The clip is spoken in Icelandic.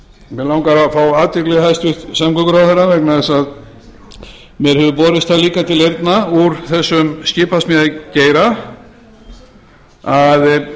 mig langar að fá athygli hæstvirtur samgönguráðherra vegna þess að mér hefur borist það líka til eyrna úr þessum skipasmíðageira að